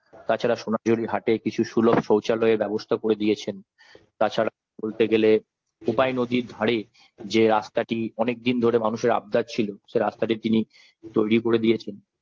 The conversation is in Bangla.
তাছাড়া আর সোনাঝুরি হাটে কিছু সুলভ শৌচালয়ের ব্যবস্থা করে দিয়েছেন তাছাড়া বলতে গেলে কোপাই নদীর ধারে যে রাস্তাটি অনেকদিন ধরে মানুষের আবদার ছিল সে রাস্তাটি তিনি তৈরি করে দিয়েছেন।